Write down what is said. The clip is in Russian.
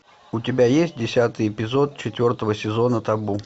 у тебя есть десятый эпизод четвертого сезона табу